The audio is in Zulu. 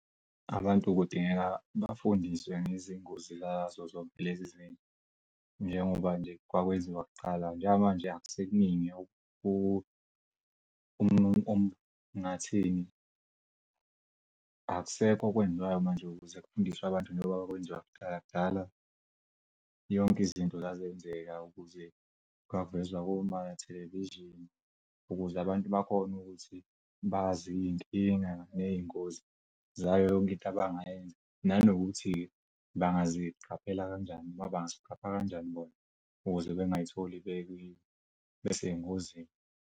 Abantu kudingeka bafundiswe ngezingozi nazo zonke lezi eziningi. Njengoba nje kwakwenziwa kuqala njengamanje akusekuningi ngathini, akusekho okwenziwayo manje ukuze kufundiswe abantu kudala yonke izinto zazenzeka ukuze kungavezwa koma-television ukuze abantu bakhona ukuthi bazi iy'nkinga ney'ngozi zayo yonke into abangayenza nanokuthi bangaziqaphela kanjani noma bangaziqapha kanjani bona ukuze bengazitholi bese ey'ngozini.